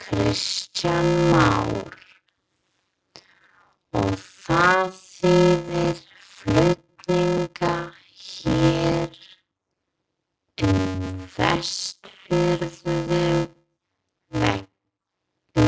Kristján Már: Og það þýðir flutninga hér um vestfirsku